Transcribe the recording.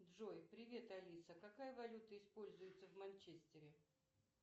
джой привет алиса какая валюта используется в манчестере